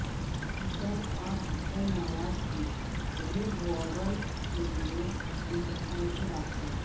حسن اور حسین نواز کے red warrant کے لیے انٹرپول سے رابطہ